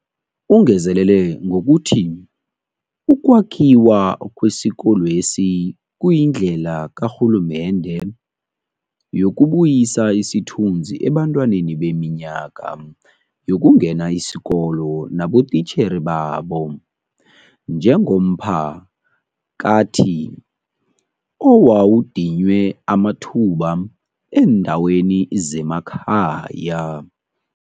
Ungezelele ngokuthi, "Ukwakhiwa kwesikolwesi kuyindlela karhulumende yokubuyisa isithunzi ebantwaneni beminyaka yokungena isikolo nabotitjhere babo njengompha kathi owawudinywe amathuba eendaweni zemakhaya".